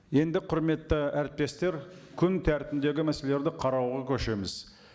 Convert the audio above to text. енді құрметті әріптестер күн тәртібіндегі мәселелерді қарауға көшеміз